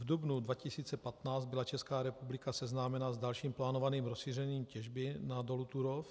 V dubnu 2015 byla Česká republika seznámena s dalším plánovaným rozšířením těžby na dolu Turów.